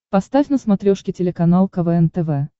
поставь на смотрешке телеканал квн тв